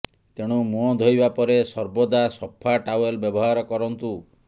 ତେଣୁ ମୁହଁ ଧୋଇବା ପରେ ସର୍ବଦା ସଫା ଟାୱେଲ ବ୍ୟବହାର କରନ୍ତୁ